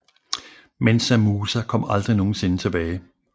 Mansa Musa kom aldrig nogensinde tilbage